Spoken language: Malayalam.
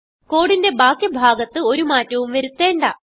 കോഡിന്റെ ബാക്കി ഭാഗത്ത് ഒരു മാറ്റവും വരുത്തേണ്ട